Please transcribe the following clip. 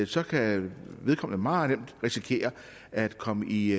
så kan vedkommende meget nemt risikere at komme i